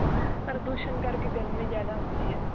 ਪ੍ਰਦੂਸ਼ਣ ਕਰਕੇ ਗਰਮੀ ਜਿਆਦਾ ਹੁੰਦੀ ਹੈ